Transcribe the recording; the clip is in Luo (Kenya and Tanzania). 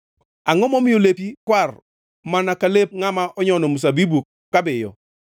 Angʼo momiyo lepi kwar mana ka lep ngʼama nyono olemb mzabibu kabiyo?